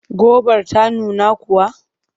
Gobar ta nuna kuwa?